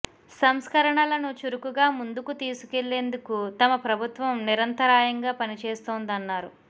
సంస్కరణలను చురుకుగా ముందుకు తీసు కువెళ్లేందుకు తమ ప్రభుత్వం నిరంతరాయంగా పనిచేస్తోందన్నారు